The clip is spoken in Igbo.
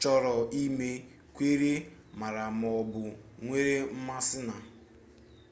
chọrọ ime kweere maara maọbu nwere mmasi na